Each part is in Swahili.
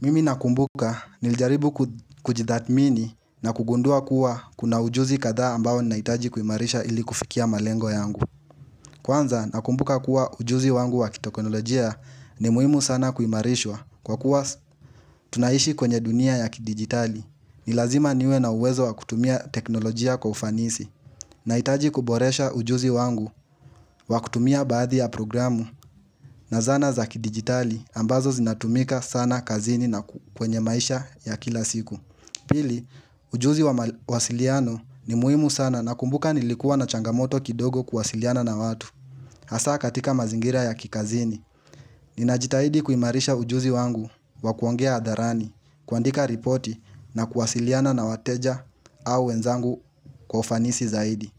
Mimi nakumbuka nilijaribu kujithatmini na kugundua kuwa kuna ujuzi kadhaa ambao naitaji kuimarisha ili kufikia malengo yangu. Kwanza nakumbuka kuwa ujuzi wangu wa kitokonolojia ni muhimu sana kuimarishwa. Kwa kuwa tunaishi kwenye dunia ya kidigitali, ni lazima niwe na uwezo wa kutumia teknolojia kwa ufanisi. Nahitaji kuboresha ujuzi wangu wa kutumia baadhi ya programu na zana za kidigitali ambazo zinatumika sana kazini na kwenye maisha ya kila siku Pili, ujuzi wa mawasiliano ni muhimu sana nakumbuka nilikuwa na changamoto kidogo kuwasiliana na watu Hasa katika mazingira ya kikazini Ninajitahidi kuimarisha ujuzi wangu wa kuongea adharani kuandika ripoti na kuwasiliana na wateja au wenzangu kwa ufanisi zaidi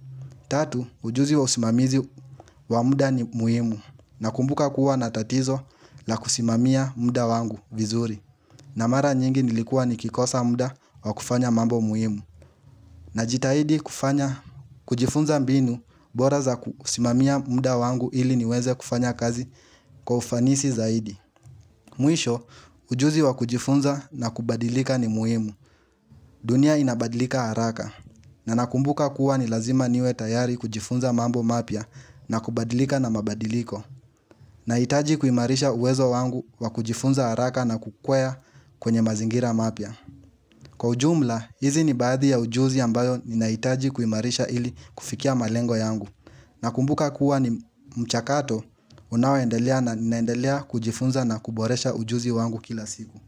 Tatu, ujuzi wa usimamizi wa muda ni muhimu nakumbuka kuwa na tatizo la kusimamia mda wangu vizuri na mara nyingi nilikua nikikosa mda wa kufanya mambo muhimu. Najitahidi kufanya kujifunza mbinu bora za kusimamia mda wangu ili niweze kufanya kazi kwa ufanisi zaidi. Mwisho, ujuzi wa kujifunza na kubadilika ni muhimu. Dunia inabadilika haraka. Na nakumbuka kuwa ni lazima niwe tayari kujifunza mambo mapia na kubadilika na mabadiliko. Nahitaji kuimarisha uwezo wangu wa kujifunza haraka na kukwea kwenye mazingira mapya. Kwa ujumla, hizi ni baadhi ya ujuzi ambayo ninaitaji kuimarisha ili kufikia malengo yangu. Nakumbuka kuwa ni mchakato, unaoendelea na ninaendelea kujifunza na kuboresha ujuzi wangu kila siku.